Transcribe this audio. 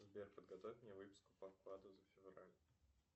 сбер подготовь мне выписку по вкладу за февраль